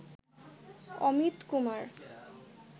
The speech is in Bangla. অমিত কুমার